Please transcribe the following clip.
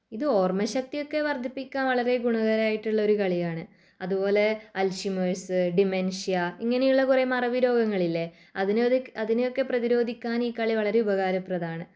ഇത് ഓർമശക്തിയൊക്കെ വർധിപ്പിക്കാൻ വളരെ ഗുണകരമായിട്ടുള്ളൊരു കളിയാണ്. അതുപോലെ അൽഷിമേഷ്സ് ഡിമെൻഷ്യ ഇങ്ങനെയുള്ള കുറെ മറവിരോഗങ്ങളില്ലേ അതിനൊ അതിനെയൊക്കെ പ്രതിരോധിക്കാൻ ഈ കളി വളരെ ഉപകാരപ്രദമാണ്.